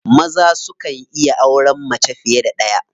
Maza sukan iya auren mace fiye da ɗaya.